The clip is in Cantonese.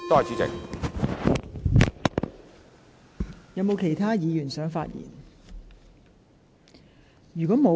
是否有其他委員想發言？